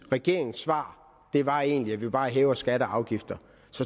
regeringens svar svar egentlig bare er at hæve skatter og afgifter